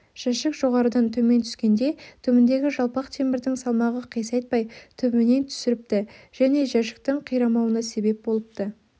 жәшік жоғарыдан төмен түскенде түбіндегі жалпақ темірдің салмағы қисайтпай түбінен түсіріпті және жәшіктің қирамауына себеп болыпты